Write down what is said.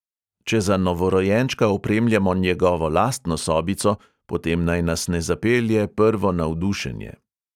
Če za novorojenčka opremljamo njegovo lastno sobico, potem naj nas ne zapelje prvo navdušenje.